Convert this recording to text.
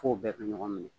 F'o bɛɛ ka ɲɔgɔn minɛ